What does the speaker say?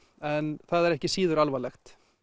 en það er ekki síður alvarlegt